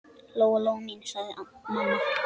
Lóa-Lóa mín, sagði mamma.